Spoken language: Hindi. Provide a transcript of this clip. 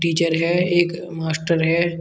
टीचर है एक मास्टर है।